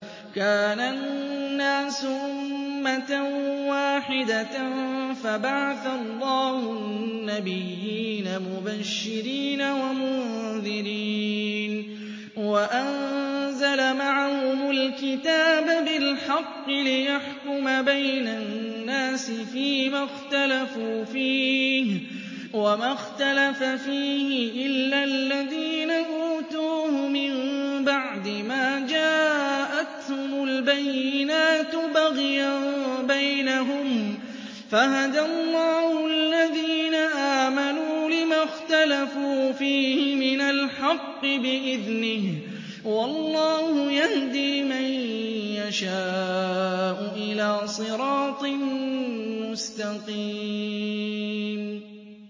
كَانَ النَّاسُ أُمَّةً وَاحِدَةً فَبَعَثَ اللَّهُ النَّبِيِّينَ مُبَشِّرِينَ وَمُنذِرِينَ وَأَنزَلَ مَعَهُمُ الْكِتَابَ بِالْحَقِّ لِيَحْكُمَ بَيْنَ النَّاسِ فِيمَا اخْتَلَفُوا فِيهِ ۚ وَمَا اخْتَلَفَ فِيهِ إِلَّا الَّذِينَ أُوتُوهُ مِن بَعْدِ مَا جَاءَتْهُمُ الْبَيِّنَاتُ بَغْيًا بَيْنَهُمْ ۖ فَهَدَى اللَّهُ الَّذِينَ آمَنُوا لِمَا اخْتَلَفُوا فِيهِ مِنَ الْحَقِّ بِإِذْنِهِ ۗ وَاللَّهُ يَهْدِي مَن يَشَاءُ إِلَىٰ صِرَاطٍ مُّسْتَقِيمٍ